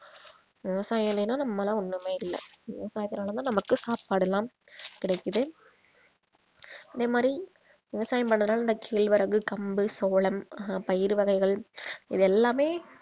விவசாயம் இல்லைனா நாம்மலாம் ஒண்ணுமே இல்லை விவசாயத்தினால தான் நமக்கு சாப்பாடுலாம் கிடைக்குது அதே மாதிரி விவசாயம் பண்றதுனால இந்த கேழ்வரகு கம்பு சோளம் அஹ் பயிர் வகைகள் இது எல்லாமே